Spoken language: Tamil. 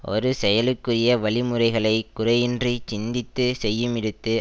ஒரு செயலுக்குரிய வழி முறைகளை குறையின்றிச் சிந்தித்து செய்யுமிடத்து